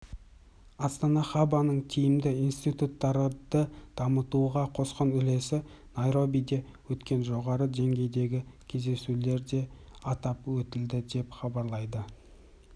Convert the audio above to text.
астана хабының тиімді институттарды дамытуға қосқан үлесі найробиде өткен жоғарғы деңгейдегі кездесулерде атап өтілді деп хабарлайды